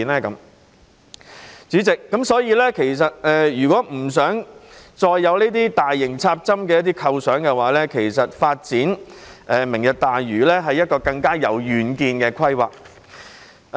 因此，主席，如果不想再有大型"插針"的構想，其實發展"明日大嶼"是一項更有遠見的規劃。